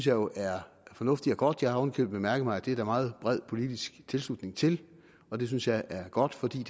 jo er fornuftigt og godt jeg har oven i købet mærket mig at det er der meget bred politisk tilslutning til og det synes jeg er godt for det